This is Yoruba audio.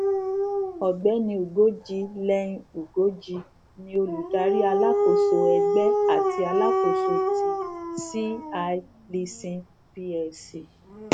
ọgbẹni ugoji lenin ugoji ni olùdarí alákóso ẹgbẹ àti alákóso ti c i leasing plc